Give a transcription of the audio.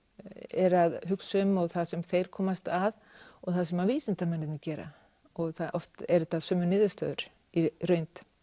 eru að hugsa um og það sem þeir komast að og það sem að vísindamennirnir gera og oft eru þetta sömu niðurstöður í reynd